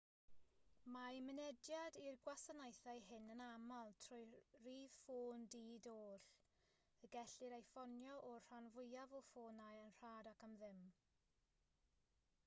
mae mynediad i'r gwasanaethau hyn yn aml trwy rif ffôn di-doll y gellir ei ffonio o'r rhan fwyaf o ffonau yn rhad ac am ddim